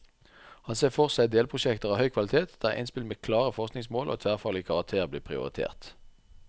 Han ser for seg delprosjekter av høy kvalitet, der innspill med klare forskningsmål og tverrfaglig karakter blir prioritert.